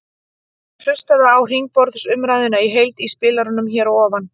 Hlustaðu á hringborðsumræðuna í heild í spilaranum hér að ofan.